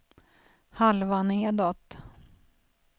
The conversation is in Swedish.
halva nedåt